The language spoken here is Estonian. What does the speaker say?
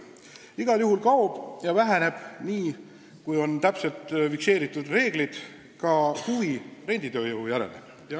Igal juhul kaob või vähemalt väheneb täpselt fikseeritud reeglite korral ka huvi renditööjõu vastu.